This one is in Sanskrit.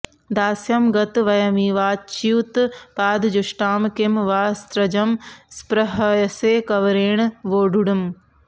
दास्यं गत वयमिवाच्युतपादजुष्टां किं वा स्रजं स्पृहयसे कवरेण वोढुम्